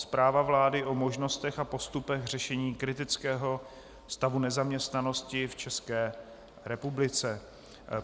Zpráva vlády o možnostech a postupech řešení kritického stavu nezaměstnanosti v České republice